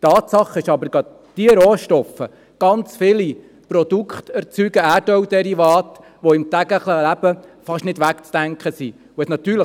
Tatsache aber ist, dass ebendiese Rohstoffe zahlreiche Produkte, Erdölderivate erzeugen, die im täglichen Leben kaum wegzudenken sind.